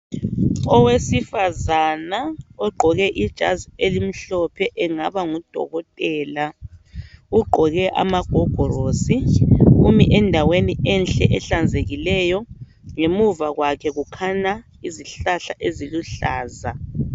Owesifazana ogqoke ijazi elimhlophe engaba ngudokotela ugqoke amagogorosi Umi endaweni enhle ehlanzekileyo ngemuva kwakhe kukhanya izihlahla eziluhlaza.